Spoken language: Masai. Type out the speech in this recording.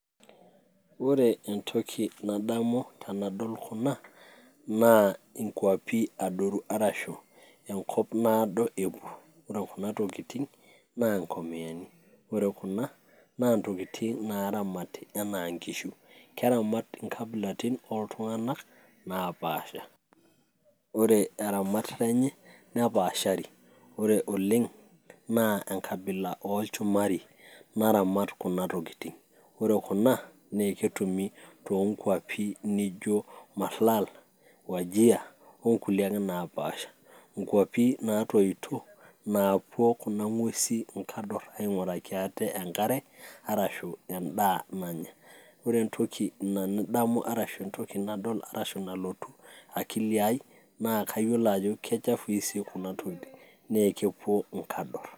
Ore entoki nadamu tenadol kuna, naa inkwapi adoru, arashu enkop naado epuo. Ore kuna tokiting',naa inkomiani. Ore kuna, naa intokiting naramati enaa inkishu. Keramat inkabilaritin oltung'anak, napaasha. Ore etamat lenye, nepaashari. Ore oleng',naa enkabila olchumari naramat kuna tokiting'. Ore kuna, eketumi tonkwapi nijo Marlal, Wajir, onkulie ake napaasha. Inkwapi natoito, naapuo kuna ng'uesi inkador aing'uraki ate enkare, arashu endaa nanya. Ore entoki nadamu arashu entoki nadol arashu enalotu akili ai, naa kayiolo ajo kechafui si kuna tokiting'. Ne kepuo inkador.